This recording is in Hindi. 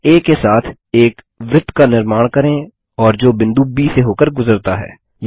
केंद्र आ के साथ एक वृत्त का निर्माण करें और जो बिंदु ब से होकर गुजरता है